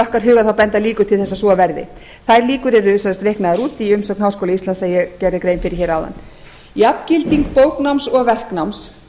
okkar huga þá benda líkur til þess að svo verði þær líkur yrðu reiknaðar út í umsögn háskóla íslands sem ég gerði grein fyrir hér áðan jafngilding bóknáms og verknáms